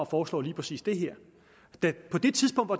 foreslår lige præcis det her på det tidspunkt hvor